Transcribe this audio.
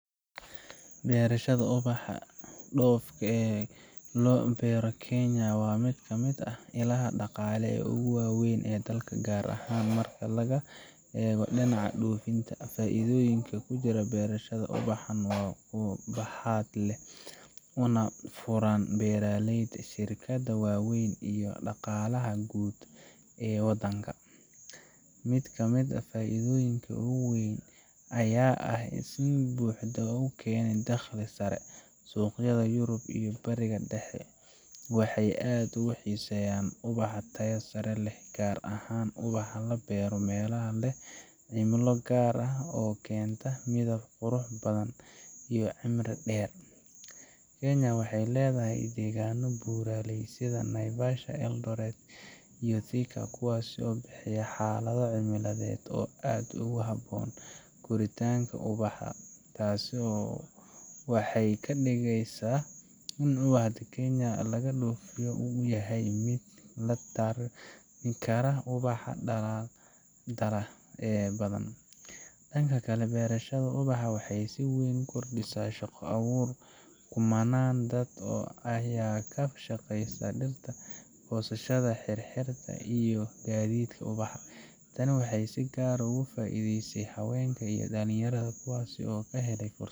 Beerashada ubaxa dhoofka loo beero ee Kenya waa mid ka mid ah ilaha dhaqaale ee ugu waaweyn ee dalka, gaar ahaan marka laga eego dhinaca dhoofinta. Faa’iidooyinka ku jira beerashada ubaxan waa kuwo baaxad leh, una furan beeraleyda, shirkadaha waaweyn, iyo dhaqaalaha guud ee waddanka. Mid ka mid ah faa’iidooyinka ugu weyn ayaa ah in ubaxa uu keeno dakhli sare. Suuqyada Yurub iyo Bariga Dhexe waxay aad u xiiseeyaan ubaxa tayo sare leh, gaar ahaan ubaxa la beero meelaha leh cimilo gaar ah oo keenta midab qurux badan iyo cimri dheer. Kenya waxay leedahay deegaanno buuraley ah sida Naivasha, Eldoret, iyo Thika, kuwaas oo bixiya xaalado cimiladeed oo aad ugu habboon koritaanka ubaxa. Taasi waxay ka dhigaysaa in ubaxa Kenya laga dhoofiyo uu yahay mid la tartami kara ubaxa dalal kale oo badan. Dhanka kale, beerashada ubaxa waxay si weyn u kordhisaa shaqo-abuurka. Kumannaan dad ah ayaa ka shaqeeya dhirta, goosashada, xirxiridda, iyo gaadiidka ubaxa. Tani waxay si gaar ah uga faa’iideysay haweenka iyo dhalinyarada, kuwaas oo ka helay fursado